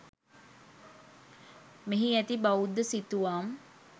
මෙහි ඇති බෞද්ධ සිතුවම්